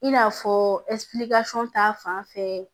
In n'a fɔ ta fanfɛ